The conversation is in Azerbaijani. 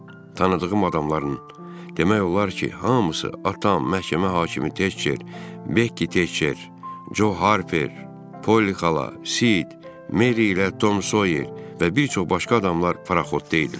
Tanıdığım adamların, demək olar ki, hamısı atam, məhkəmə hakimi Tekçer, Bekki Tekçer, Co Harper, Polli xala, Sid, Meri ilə Tom Soyer və bir çox başqa adamlar paraxotda idilər.